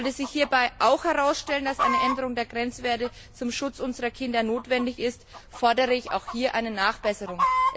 Sollte sich hierbei auch herausstellen, dass eine Änderung der Grenzwerte zum Schutz unserer Kinder notwendig ist, fordere ich auch hier eine Nachbesserung.